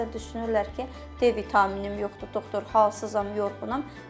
Bəzən düşünürlər ki, D vitaminim yoxdur, doktor, halsızam, yorğunam.